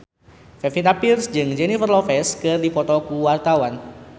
Pevita Pearce jeung Jennifer Lopez keur dipoto ku wartawan